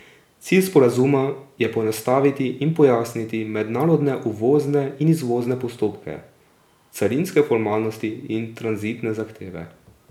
Cilj sporazuma je poenostaviti in pojasniti mednarodne uvozne in izvozne postopke, carinske formalnosti in tranzitne zahteve.